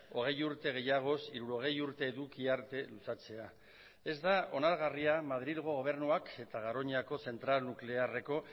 hogei urte gehiagoz hirurogei urte eduki arte luzatzea ez da onargarria madrilgo gobernuak eta garoñako zentral nuklearreko